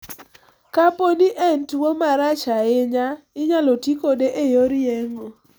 Kapo ni en tuwo marach ahinya, inyalo ti kode e yor yeng'o.